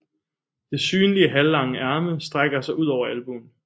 Det synlige halvlange ærme strækker sig ud over albuen